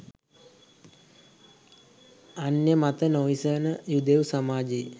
අන්‍ය මත නොයිවසන යුදෙව් සමාජයේ